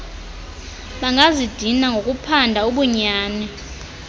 bangazidini ngokuphanda ubunyani